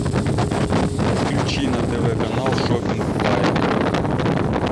включи на тв канал шоппинг лайф